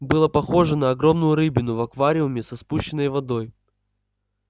было похоже на огромную рыбину в аквариуме со спущенной водой